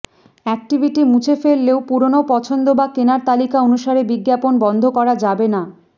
activity মুছে ফেললেও পুরনো পছন্দ বা কেনার তালিকা অনুসারে বিজ্ঞাপণ বন্ধ করা যাবে না